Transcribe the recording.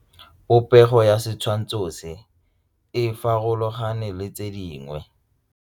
Popêgo ya setshwantshô se, e farologane le tse dingwe.